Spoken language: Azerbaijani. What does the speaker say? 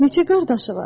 Neçə qardaşı var?